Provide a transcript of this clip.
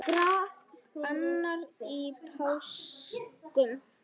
annar í páskum